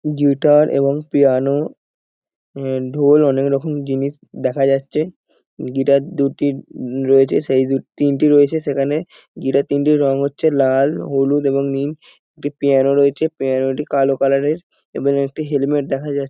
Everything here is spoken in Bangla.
গিটার এবং পিয়ানো অ্যা ঢোল অনেক রকম জিনিস দেখা যাচ্ছে। গিটার দুটি রয়েছে সেই দুই তিনটি রয়েছে। সেখানে গিটার তিনটির রং হচ্ছে লাল হলুদ এবং নীল একটি পিয়ানো রয়েছে পিয়ানো -টি কালো কালার -এর এবং একটি হেলমেট দেখা যাচ্ছে।